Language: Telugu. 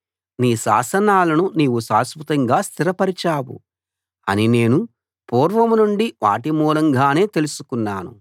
నీ శాసనాలను నీవు శాశ్వతంగా స్థిరపరిచావు అని నేను పూర్వం నుండి వాటిమూలంగానే తెలుసుకున్నాను